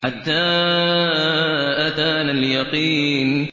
حَتَّىٰ أَتَانَا الْيَقِينُ